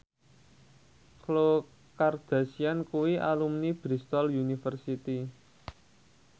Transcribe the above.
Khloe Kardashian kuwi alumni Bristol university